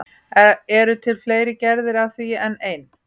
Eru til fleiri gerðir af því en ein?